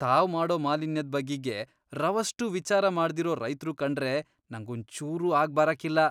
ತಾವ್ ಮಾಡೋ ಮಾಲಿನ್ಯದ್ ಬಗಿಗೆ ರವಷ್ಟೂ ವಿಚಾರ ಮಾಡ್ದಿರೋ ರೈತ್ರು ಕಂಡ್ರೆ ನಂಗೊಂಚೂರೂ ಆಗ್ಬರಾಕಿಲ್ಲ.